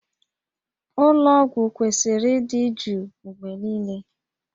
Ụlọ ọgwụ kwesịrị ịdị jụụ mgbe niile